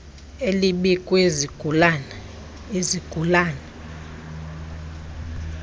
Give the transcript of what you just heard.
elibi kwizigulana izigulana